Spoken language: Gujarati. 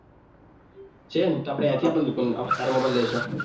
છે ને તો થી આપને તારો mobile લેશો